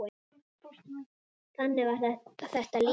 Þannig var þetta líka.